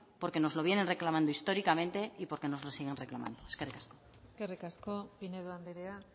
porque nos lo vienen reclamando históricamente y porque nos lo siguen reclamando eskerrik asko eskerrik asko pinedo andrea